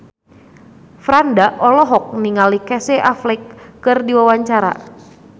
Franda olohok ningali Casey Affleck keur diwawancara